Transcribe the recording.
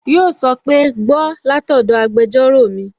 Yíò sọ pé "Gbọ́ látọ̀dọ̀ agbẹjọ́rò mi!"